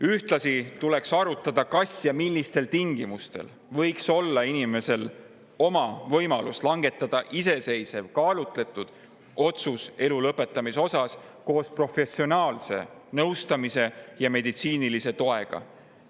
Ühtlasi tuleks arutada, kas ja millistel tingimustel võiks olla inimesel võimalus langetada iseseisev kaalutletud otsus elu lõpetamise osas koos professionaalse nõustamise ja meditsiinilise toega.